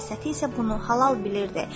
Məsəti isə bunu halal bilirdi.